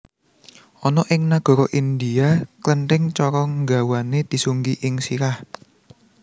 Ana ing nagara India klenthing cara nggawané disunggi ing sirah